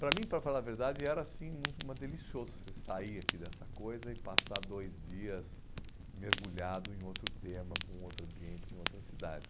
Para mim, para falar a verdade, era assim, muito mais delicioso você sair aqui dessa coisa e passar dois dias mergulhado em outro tema, com outro ambiente, em outra cidade.